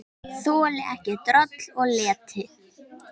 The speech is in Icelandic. Þoldi ekki droll og leti.